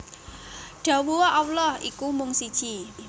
Dhawuha Allah iku mung siji